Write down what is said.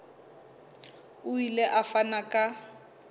o ile a fana ka